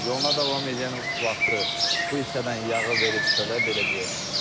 Yoluna davam eləyən vaxtı bu hissədən yağı verib çölə, belə deyək.